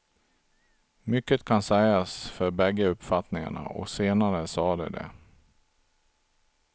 Mycket kan sägas för bägge uppfattningarna, och senare sade de det.